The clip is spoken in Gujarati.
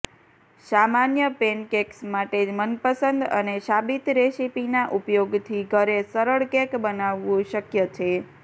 સામાન્ય પૅનકૅક્સ માટે મનપસંદ અને સાબિત રેસીપીના ઉપયોગથી ઘરે સરળ કેક બનાવવું શક્ય છે